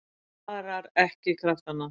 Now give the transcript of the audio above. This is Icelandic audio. Sparar ekki kraftana.